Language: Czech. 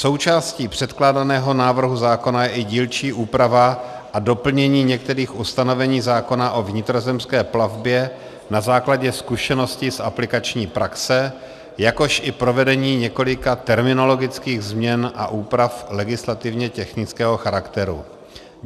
Součástí předkládaného návrhu zákona je i dílčí úprava a doplnění některých ustanovení zákona o vnitrozemské plavbě na základě zkušeností z aplikační praxe, jakož i provedení několika terminologických změn a úprav legislativně technického charakteru.